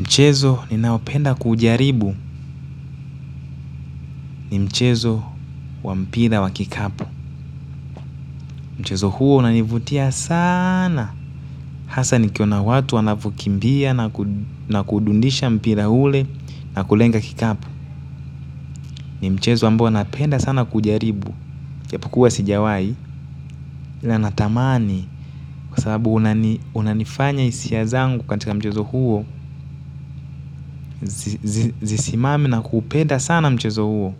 Mchezo ninaopenda kuujaribu, ni mchezo wa mpira wa kikapu. Mchezo huo unanivutia saana. Hasa nikiona watu wanavyokimbia na kudundisha mpira ule na kulenga kikapu. Ni mchezo ambao napenda sana kujaribu, ijapokuwa sijawahi, ila natamani, kwa sababu unanifanya nihisi hisia zangu katika mchezo huo. Zisimame na kupenda sana mchezo huo.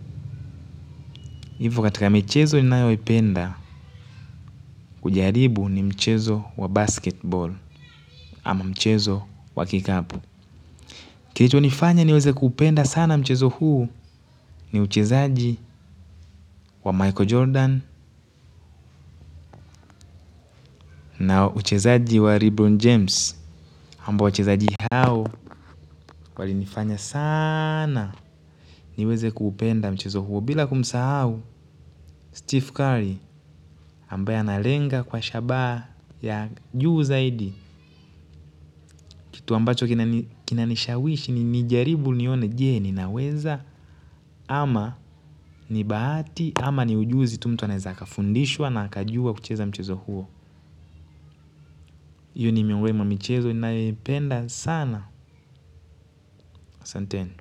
Ivo katika michezo ninayoipenda kujaribu ni mchezo wa "basketball" ama mchezo wa kikapu. Kilicho nifanya niweze kupenda sana mchezo huu, ni uchezaji wa Michael Jordan, na uchezaji wa Ribbon James. Ambao wachezaji hao, walinifanya saana niweze kupenda mchezo huu, bila kumsahau Steph Curry ambaye analenga kwa usabaha wa juu zaidi. Kitu ambacho kinanishawishi, nijaribu nione je, ninaweza. Ama ni bahati, ama ni ujuzi tu mtu anaozaliwa nao au anafundishwa na kujua kucheza mchezo huo. Iyo ni miongoni mwa michezo inayoipenda sana. Asanteni.